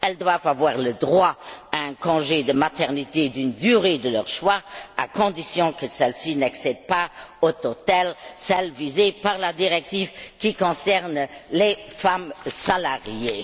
Elles doivent avoir le droit de prendre un congé de maternité d'une durée de leur choix à condition que celle ci n'excède pas au total celle visée par la directive qui concerne les femmes salariées.